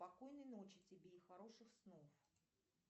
спокойной ночи тебе и хороших снов